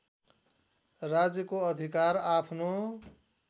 राज्यको अधिकार आफ्नो